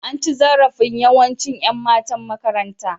An ci zarafin yawanci Yan matan makarantar.